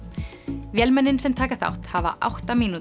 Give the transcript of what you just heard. vélmennin sem taka þátt hafa átta mínútur